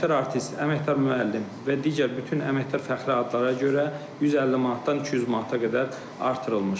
Əməkdar artist, əməkdar müəllim və digər bütün əməkdar fəxri adlara görə 150 manatdan 200 manata qədər artırılmışdır.